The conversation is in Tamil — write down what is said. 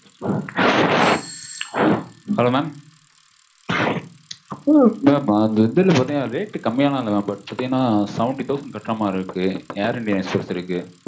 hello mam அதுல வந்து பாத்தீங்கன்னா rate கம்மியாலா இல்ல mam seventy ல தான் கட்ற மாதிரி இருக்கு air india express இருக்க